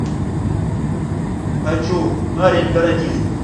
хочу парень каратист